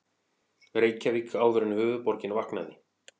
Reykjavík áður en höfuðborgin vaknaði.